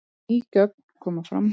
Ný gögn koma fram